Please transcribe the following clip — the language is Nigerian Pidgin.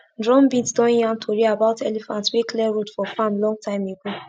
drumbeat don yarn tori about elephant wey clear road for farm long time ago